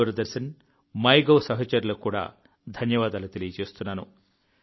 Doordarshan my gov సహచరులకు కూడా ధన్యవాదాలు తెలియజేస్తున్నాను